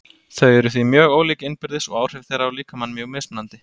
Þau eru því mjög ólík innbyrðis og áhrif þeirra á líkamann mjög mismunandi.